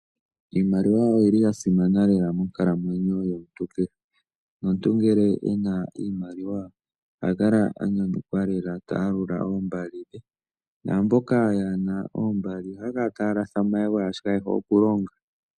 Iimaliwa oyi li ya simana lela monkalamwenyo yomuntu kehe. Nomuntu ngele e na iimaliwa oha kala a nyanyukwa lela ta yalula oombali dhe naamboka yaa na oombali ohaya kala taya latha omayego, oshoka kaye hole okulonga.